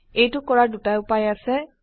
এইটো কৰাৰ দুটা উপায় আছে